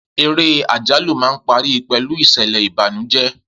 Eré àjálù máa ń parí pẹ̀lú ìṣẹ̀lẹ̀ Ìbànújẹ́